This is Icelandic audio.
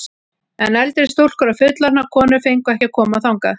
En eldri stúlkur og fullorðnar konur fengu ekki að koma þangað.